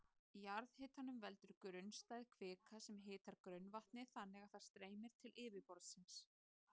Jarðhitanum veldur grunnstæð kvika sem hitar grunnvatnið þannig að það streymir til yfirborðsins.